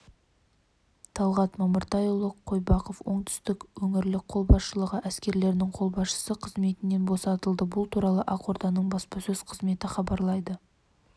талғат мамыртайұлы қойбақов оңтүстік өңірлік қолбасшылығы әскерлерінің қолбасшысы қызметінен босатылды бұл туралы ақорданың баспасөз қызметі хабарлайды